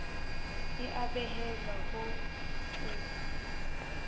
e a behelwa ho o